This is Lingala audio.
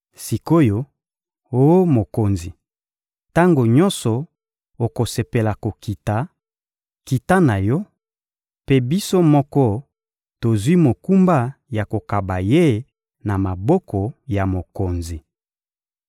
Sik’oyo, oh mokonzi, tango nyonso okosepela kokita, kita na yo; mpe biso moko tozwi mokumba ya kokaba ye na maboko ya mokonzi.